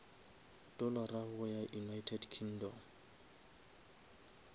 dollara go ya united kingdom